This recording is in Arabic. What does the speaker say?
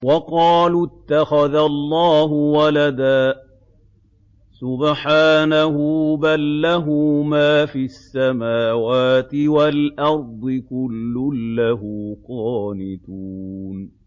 وَقَالُوا اتَّخَذَ اللَّهُ وَلَدًا ۗ سُبْحَانَهُ ۖ بَل لَّهُ مَا فِي السَّمَاوَاتِ وَالْأَرْضِ ۖ كُلٌّ لَّهُ قَانِتُونَ